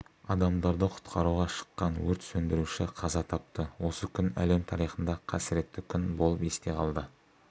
адамдарды құтқаруға шыққан өрт сөндіруші қаза тапты осы күн әлем тарихында қасіретті күн болып есте қалды